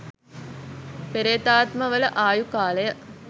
පේ්‍රතාත්මවල ආයු කාලය